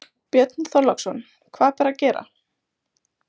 Björn Þorláksson: Hvað ber að gera?